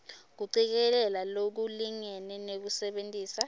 kucikelela lokulingene nekusebentisa